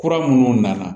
Kura minnu nana